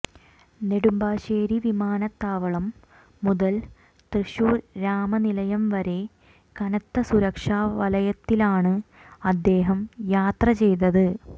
നെടുമ്പാശ്ശേരി വിമാനത്താവളം മുതൽ തൃശൂർ രാമനിലയം വരെ കനത്ത സുരക്ഷാ വലയത്തിലാണ് അദ്ദേഹം യാത്ര ചെയ്തത്